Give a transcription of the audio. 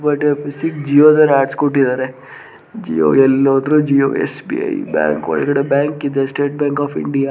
ಜಿವೊ ದವ್ರ ಹಾಕ್ಸಕೊಟ್ಟಿದ್ದಾರೆ ಜಿವೊ ಎಲ್ಲ ಹೊದ್ರೂ ಜಿವೊ ಎಸ್.ಬಿ.ಐ. ಬ್ಯಾಂಕ ಒಳಗಡೆ ಬ್ಯಾಂಕ ಇದೆ ಸ್ಟೆಟ ಬ್ಯಾಂಕ ಆಫ್‌ ಇಂಡಿಯಾ .